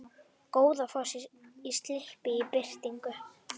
Goðafoss í slipp í birtingu